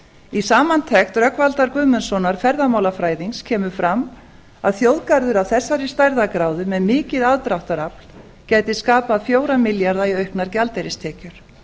í samantekt rögnvaldar guðmundssonar ferðamálafræðings kemur fram að þjóðgarður af þessari stærðargráðu með mikið aðdráttarafl gæti skapað fjóra milljarða í auknar gjaldeyristekjur